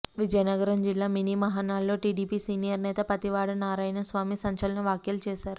విజయనగరం జిల్లా మినీ మహానాడులో TDP senior నేత పతివాడ నారాయణ స్వామి సంచలన వ్యాఖ్యలు చేశారు